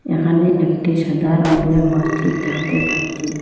এখানে একটি সাদা রঙের মসজিদ দেখতে পাচ্ছি।